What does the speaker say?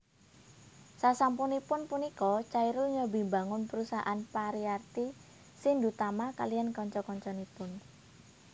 Sasampunipun punika Chairul nyobi mbangun perusahaan Pariarti Shindutama kaliyan kanca kancanipun